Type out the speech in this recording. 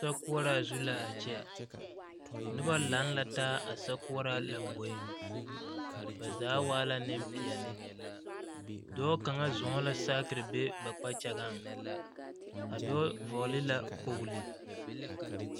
Sokoɔraa zu la a kyɛ noba lantaa a sokoɔraa lamboe ba zaa waa la Nempeɛle dɔɔ kaŋa zɔɔ la saakere be ba kpakyaŋa andɔɔ vɔgele la kpɔgle